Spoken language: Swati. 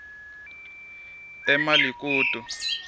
emalikutu